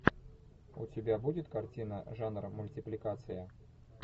у тебя будет картина жанр мультипликация